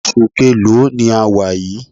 Oṣù keèlo ni a wà yìí?